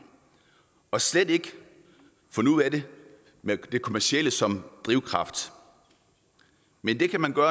slet ikke og nu er det med det kommercielle som drivkraft men det kan man